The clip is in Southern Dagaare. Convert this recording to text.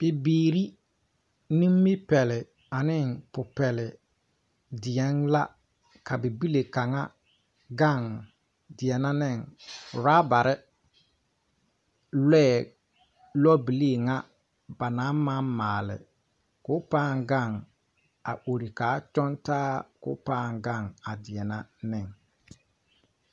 Bibiire nimipɛle aneŋ pupɛlle deɛŋ la ka bible kaŋa gaŋ deɛnɛ niŋ rabarre lɔɛ lɔbilii ŋa ba naŋ maŋ maale ko paŋ gaŋ a ore kaa tɔngtaa koo laaŋ gaŋ a deɛnɛ niŋ.